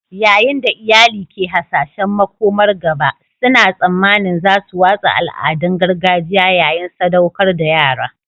Yayin da iyali ke hasashen makomar gaba, suna tsammanin za su watsa al'adun gargajiya yayin sadaukar da yara